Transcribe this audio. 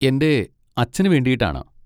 എൻ്റെ അച്ഛന് വേണ്ടിയിട്ടാണ്.